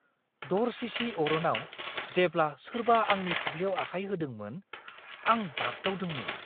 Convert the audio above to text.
दरसिसि अरनाव जेब्ला सोरबा आंनि फाफ्लिआव आखाय होदोंमोन, आं बागदावदोंमोन!